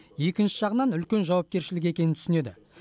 екінші жағынан үлкен жауапкершілік екенін түсінеді